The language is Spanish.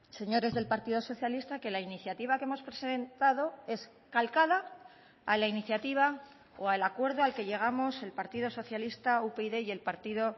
señores del partido socialista que la iniciativa que hemos presentado es calcada a la iniciativa o al acuerdo al que llegamos el partido socialista upyd y el partido